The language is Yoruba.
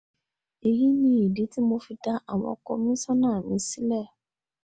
èyí ni ìdí tí mo fi dá àwọn kọmíṣánná mi sílẹ̀